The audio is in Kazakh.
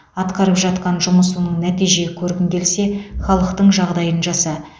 атқарып жатқан жұмысыңнан нәтиже көргің келсе халықтың жағдайын жаса